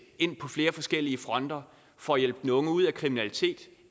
ind på flere forskellige fronter for at hjælpe de unge ud af kriminalitet